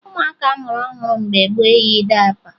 Ụmụaka a mụrụ ọhụrụ mgbe gboo eyighi dayịpa